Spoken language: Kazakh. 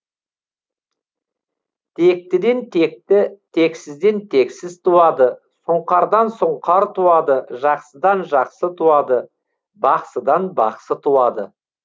тектіден текті тексізден тексіз туады сұңқардан сұңқар туады жақсыдан жақсы туады бақсыдан бақсы туады